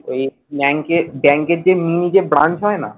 ওই ব্যাঙ্কে ব্যাঙ্কের যে new যে branch হয় না